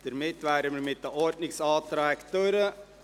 Somit sind wir mit den Ordnungsanträgen durch.